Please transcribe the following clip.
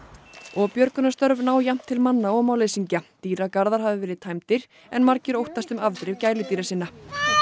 og björgunarstörf ná jafnt til manna og málleysingja dýragarðar hafa verið tæmdir en margir óttast um afdrif gæludýra sinna